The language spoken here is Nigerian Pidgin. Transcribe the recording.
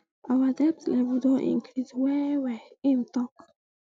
our debt level don increase wellwell im tok